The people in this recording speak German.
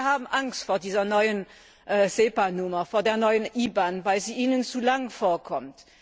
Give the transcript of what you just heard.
Sehr viele haben Angst vor dieser neuen SEPA Nummer, vor der neuen IBAN, weil sie ihnen zu lang vorkommt.